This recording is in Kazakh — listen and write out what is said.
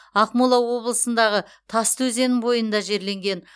ақмола облысындағы тасты өзенінің бойында жерленген